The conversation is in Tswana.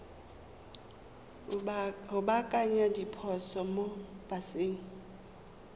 go baakanya diphoso mo paseng